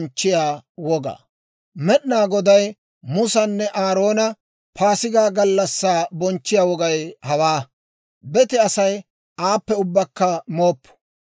Med'inaa Goday Musanne Aaroona, «Paasigaa gallassaa bonchchiyaa wogay hawaa; bete Asay aappe ubbakka mooppo.